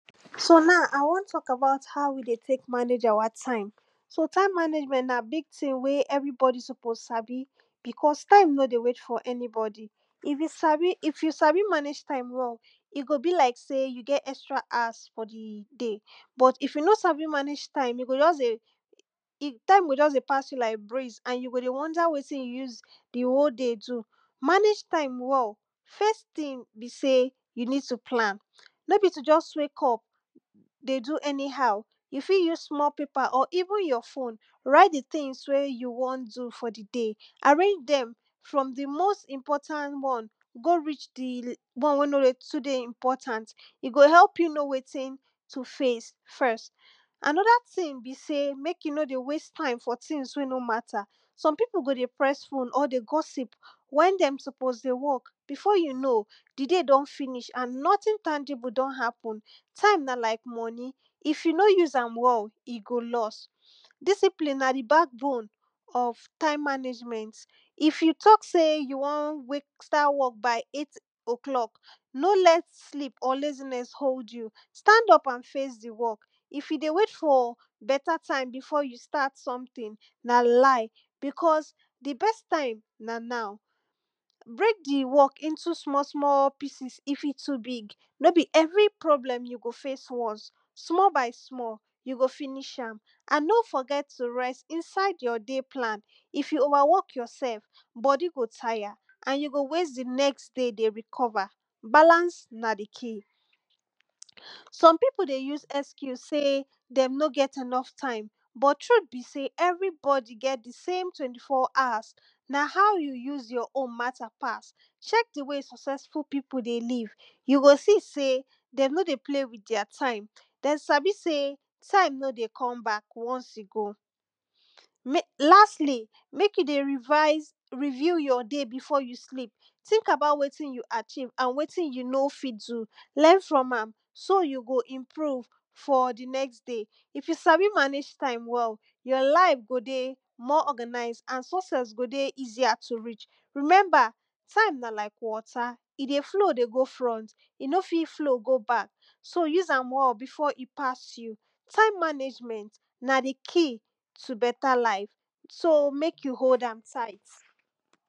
so now I wan talk about how we dey take manage our time. so time management na big thing wey everybody suppose sabi because time nor dey wait for anybody. if you sabi if you sabi manage your time well, e go be like sey you get extra hours for di day, but if you no sabi manage time you go just dey time go just dey di time go just pass you like breeze and you go dey wonder wetin you use di whole day do. manage time well first thing be sey, you need to plan. no be to just wake up dey do any how, you fit use small paper or even your phone write di things wey you wan do for di day, arange dem from di most Important one go reach di one wey nor dey too important. e go help you know wetin to face first. another thing be sey, make you no dey waste time time for things wey no matter. some people go dey press phone or dey gossip wen dem suppose dey work before you know di day don finish and nothing tangible don happen. time na like money if you no use am well, e go lost. discipline na di back bone of time management. if you talk sey you won wake start work by eight oclock no let sleep or laziness hold you, stand up and face di work, if you dey wait for better time before you start something na lie because di best time na now. break di work into small small pieces if e too big. nor be every problem you go face once, small by small, you go finish am. and no forget to rest inside your day plan, if you over work yourself body go tire and you go waste di next day dey recover, balance na di key. some people dey use excuse sey dem no get enough time, but truth be sey everybody get di same twenty four hours. na how you use your own matter pass. check di way successful people dey live, you go see sey dem no dey play with their time. dem sabi sey time no dey come back once e go. make lastly, make you dey revise review your day before you sleep. think about wetin you achieve and wetin you no fit do learn from am, so you go improve for di next day. if you sabi manage time well your life go dey more organized and success go dey more easier to reach. remember time na like water; e dey flow dey go front,e no fit flow go back, so use am well before e pass you. time management na di key to better life, so make you hold am tight.